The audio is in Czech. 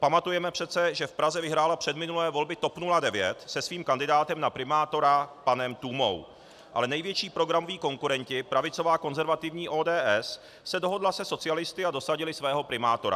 Pamatujeme přece, že v Praze vyhrála předminulé volby TOP 09 se svým kandidátem na primátora panem Tůmou, ale největší programoví konkurenti, pravicová konzervativní ODS, se dohodli se socialisty a dosadili svého primátora.